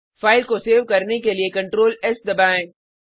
file को save करने के लिए CtrlS दबाएँ